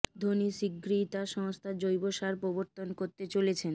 ধোনি শিগগিরই তাঁর সংস্থার জৈব সার প্রবর্তন করতে চলেছেন